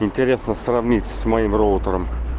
интересно сравнить с моим роутером